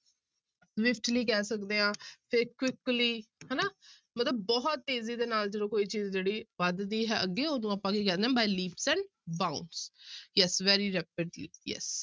ਕਹਿ ਸਕਦੇ ਹਾਂ ਤੇ quickly ਹਨਾ ਮਤਲਬ ਬਹੁਤ ਤੇਜ਼ੀ ਦੇ ਨਾਲ ਜਦੋਂ ਕੋਈ ਚੀਜ਼ ਜਿਹੜੀ ਵੱਧਦੀ ਹੈ ਅੱਗੇ ਉਦੋਂ ਆਪਾਂ ਕੀ ਕਹਿੰਦੇ ਹਾਂ by leaps and bounds yes very rapidly yes